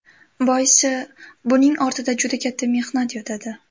Boisi, buning ortida juda katta mehnat yotadi.